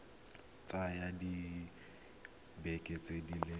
ka tsaya dibeke di le